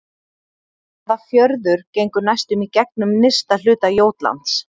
Hvaða fjörður gengur næstum í gegnum nyrsta hluta Jótlands?